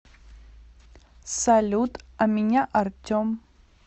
салют а меня артем